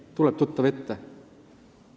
Kas tuleb tuttav ette?